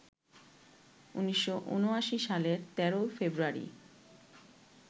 ১৯৭৯ সালের ১৩ ফেব্রুয়ারি